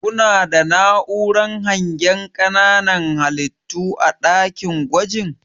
kuna da na'uran hangen ƙananan halittu a ɗakin gwajin?